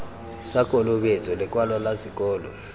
sa kolobetso lekwalo la sekolo